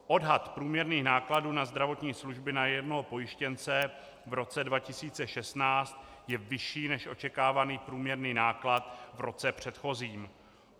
Odhad průměrných nákladů na zdravotní služby na jednoho pojištěnce v roce 2016 je vyšší než očekávaný průměrný náklad v roce předchozím.